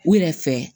U yɛrɛ fɛ